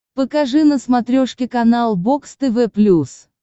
покажи на смотрешке канал бокс тв плюс